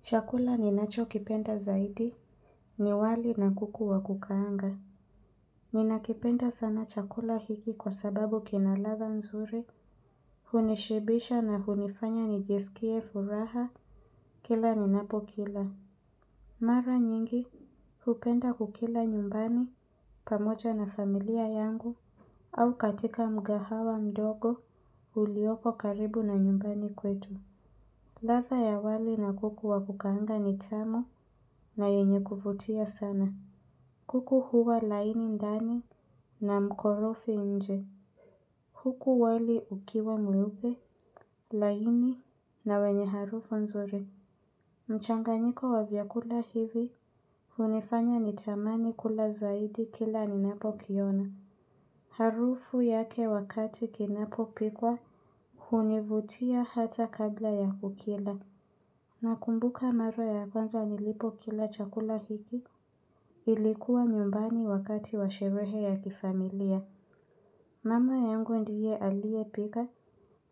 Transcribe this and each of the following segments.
Chakula ninacho kipenda zaidi ni wali na kuku wa kukaanga. Ninakipenda sana chakula hiki kwa sababu kina ladha nzuri, hunishibisha na hunifanya nijiskie furaha kila ninapo kila. Mara nyingi, hupenda kukila nyumbani pamoja na familia yangu au katika mgahawa mdogo ulioko karibu na nyumbani kwetu. Ladha ya wali na kuku wa kukaanga ni tamu na yenye kuvutia sana. Kuku huwa laini ndani na mkorofi nje. Kuku wali ukiwa mweupe, laini na wenye harufu nzuri. Mchanganyiko wa vyakula hivi hunifanya nitamani kula zaidi kila ninapo kiona. Harufu yake wakati kinapopikwa hunivutia hata kabla ya kukila. Na kumbuka mara ya kwanza nilipokila chakula hiki, ilikuwa nyumbani wakati wa sherehe ya kifamilia. Mama yangu ndiye aliyepika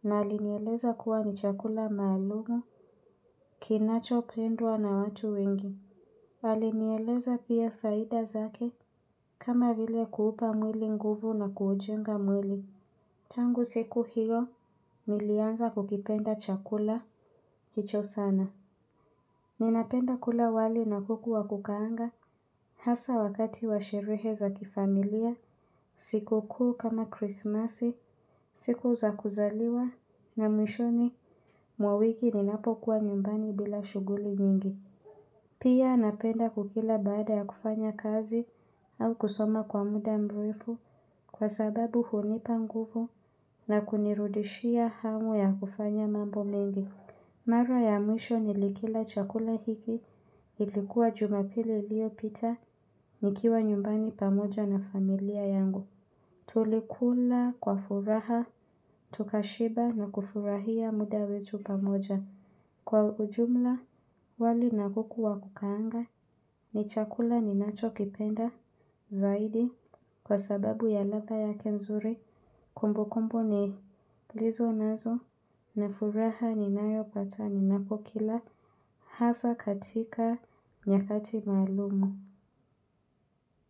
na alinieleza kuwa ni chakula maalumu kinachopendwa na watu wengi. Alinieleza pia faida zake kama vile kuupa mwili nguvu na kuujenga mwili. Tangu siku hiyo, nilianza kukipenda chakula hicho sana. Ninapenda kula wali na kuku wa kukaanga hasa wakati wa sherehe za kifamilia, siku kuu kama krismasi, siku za kuzaliwa na mwishoni mwa wiki ninapokuwa nyumbani bila shughuli nyingi. Pia napenda kukila baada ya kufanya kazi au kusoma kwa muda mrefu kwa sababu hunipa nguvu na kunirudishia hamu ya kufanya mambo mengi. Mara ya mwisho nilikila chakula hiki, ilikuwa jumapili iliyopita nikiwa nyumbani pamoja na familia yangu. Tulikula kwa furaha, tukashiba na kufurahia muda wetu pamoja. Kwa ujumla, wali na kuku wa kukaanga, ni chakula ninachokipenda, zaidi, kwa sababu ya ladha yake nzuri. Kumbukumbu nilizo nazo na furaha ninayopata ninapokila hasa katika nyakati maalumu.